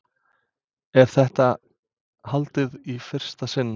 Er þetta haldið í fyrsta sinn?